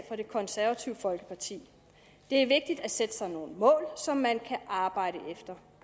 for det konservative folkeparti det er vigtigt at sætte sig nogle mål som man kan arbejde efter